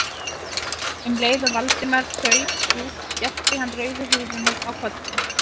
Um leið og Valdimar þaut út skellti hann rauðu húfunni á kollinn.